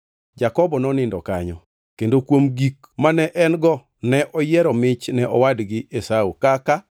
Jakobo nonindo kanyo, kendo kuom gik mane en-go ne oyiero mich ne owadgi Esau kaka: